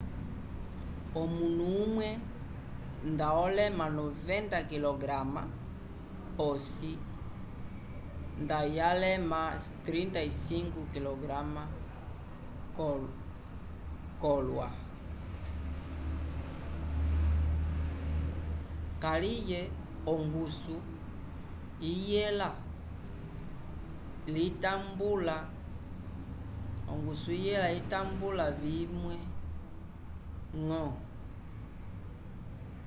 omunu umwe nda olema 90 kg p’osi ndayalema 36 kg k’olwa. kaliye ongusu iyela litambula vimwe-ñgo